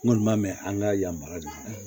N kɔni ma mɛn an ka yamaruya de la